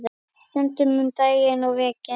Stundum um daginn og veginn.